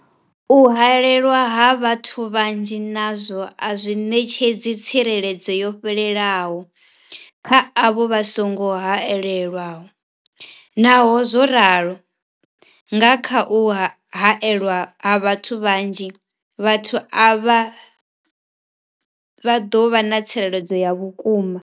U haelwa ha vhathu vhanzhi nazwo a zwi ṋetshedzi tsireledzo yo fhelelaho kha avho vha songo haelwaho, Naho zwo ralo, nga kha u haelwa ha vhathu vhanzhi, vhathu avha vha ḓo vha na tsireledzo ya vhukuma.